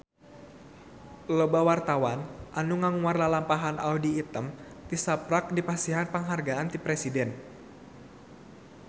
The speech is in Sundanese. Loba wartawan anu ngaguar lalampahan Audy Item tisaprak dipasihan panghargaan ti Presiden